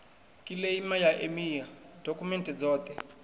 kiḽeima ya emia dokhumenthe dzoṱhe